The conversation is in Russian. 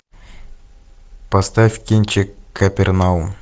поставь кинчик капернаум